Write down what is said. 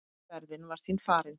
Ferðin var því farin.